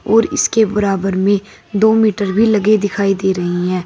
और इसके बराबर में दो मीटर भी लगे दिखाई दे रही हैं।